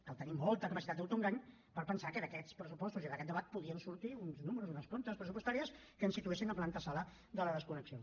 cal tenir molta capacitat d’autoengany per pensar que d’aquests pressupostos i d’aquest debat podien sortir uns números uns comptes pressupostaris que ens situessin en l’avantsala de la desconnexió